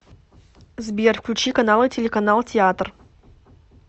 сбер включи каналы телеканал театр